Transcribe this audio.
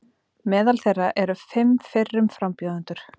Meðal þeirra eru fimm fyrrum frambjóðendur